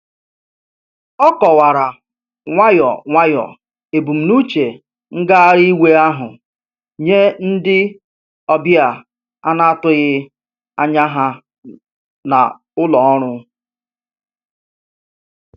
O kọwara nwayọ nwayọ ebumnuche ngagharị iwe ahụ nye ndị ọbịa ana-atụghị anya ha na ụlọ ọrụ.